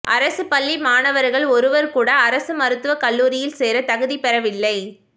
அரசு பள்ளி மாணவர்கள் ஒருவர் கூட அரசு மருத்துவ கல்லூரியில் சேர தகுதி பெறவில்லை